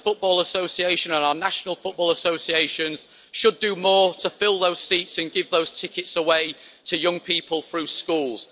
The Football Association and our national football associations should do more to fill those seats and give those tickets away to young people through schools.